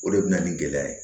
O de bɛ na ni gɛlɛya ye